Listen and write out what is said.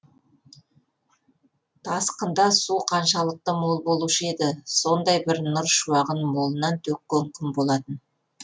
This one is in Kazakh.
тасқында су қаншалықты мол болушы еді сондай бір нұр шуағын молынан төккен күн болатын